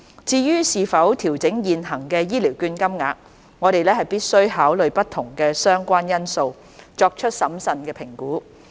至於是否調整現行醫療券金額，我們必需考慮不同的相關因素，作出審慎的評估。